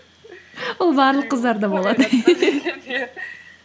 ол барлық қыздарда болады